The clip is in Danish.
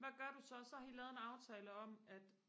hvad gør du så så har I lavet en aftale om at